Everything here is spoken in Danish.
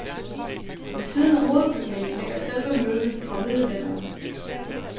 Ved siden af hovedbygningen ligger selve møllen framiddelalderen.